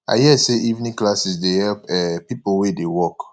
i hear say evening classes dey help um people wey dey work